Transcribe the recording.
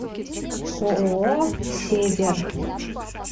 ооо север